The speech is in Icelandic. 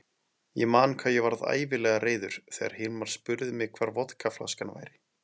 Ég man hvað ég varð ægilega reiður þegar Hilmar spurði mig hvar vodkaflaskan væri.